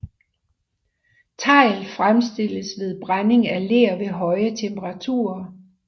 Tegl fremstilles ved brænding af ler ved høje temperaturer